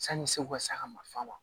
Sanni segu ka se a ka mali la